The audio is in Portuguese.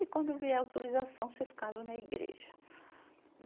E quando vier a autorização, vocês casam na igreja.